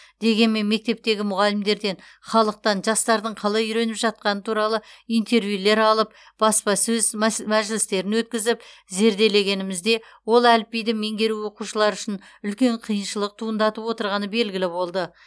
дегенмен мектептегі мұғалімдерден халықтан жастардың қалай үйреніп жатқаны туралы интервьюлер алып баспасөз мәжілістерін өткізіп зерделегенімізде ол әліпбиді меңгеру оқушылар үшін үлкен қиыншылық туындатып отырғаны белгілі болды